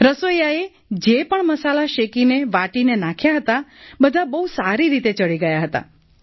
રસોઈયાએ જે પણ મસાલા શેકીને વાટીને નાખ્યા હતા બધા બહુ સારી રીતે ચડી ગયા હતા